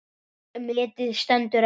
Metið stendur enn.